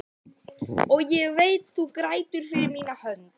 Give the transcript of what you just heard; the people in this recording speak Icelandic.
Og ég veit þú grætur fyrir mína hönd.